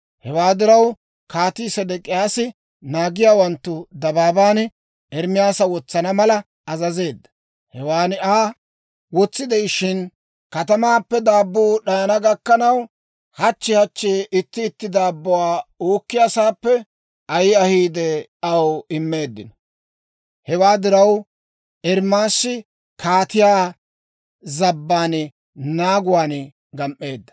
Hewaa diraw, Kaatii Sedek'iyaasi naagiyaawanttu dabaaban Ermaasa wotsana mala azazeedda. Hewan Aa wotsi de'ishshin, katamaappe daabbuu d'ayana gakkanaw, hachchi hachchi itti itti daabbuwaa uukkiyaasaappe ayi ahiide, aw immeeddino. Hewaa diraw Ermaasi kaatiyaa zabban naaguwaan gam"eedda.